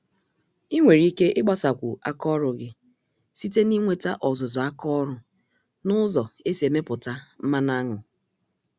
Ịnwere ike igbasakwu àkà ọrụ gị site na inweta ọzụzụ àkà ọrụ, nụzọ esi emepụta mmanụ aṅụ.